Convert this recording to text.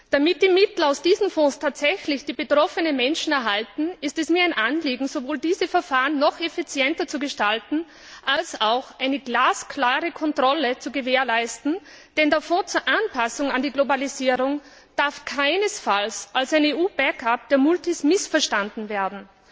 Damit die Mittel aus diesen Fonds tatsächlich die betroffenen Menschen erhalten, ist es mir ein Anliegen, sowohl diese Verfahren noch effizienter zu gestalten als auch eine glasklare Kontrolle zu gewährleisten, denn der Fonds zur Anpassung an die Globalisierung darf keinesfalls als ein EU Backup der Multis missverstanden werden.